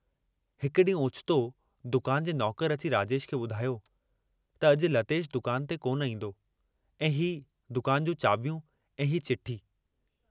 हिक डींहुं ओचितो दुकान जे नौकर अची राजेश खे बुधायो त अजु लतेश दुकान ते कोन ईन्दो ऐं हीउ दुकान जूं चाबियूं ऐं हीउ चिठी।